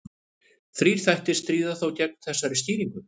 Þrír þættir stríða þó gegn þessari skýringu.